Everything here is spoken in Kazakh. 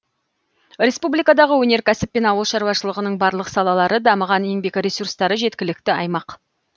республикадағы өнеркәсіп пен ауыл шаруашылығының барлық салалары дамыған еңбек ресурстары жеткілікті аймақ